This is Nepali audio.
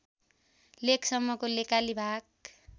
लेकसम्मको लेकाली भाग